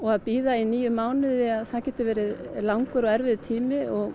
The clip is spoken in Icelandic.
að bíða í níu mánuði það getur verið langur og erfiður tími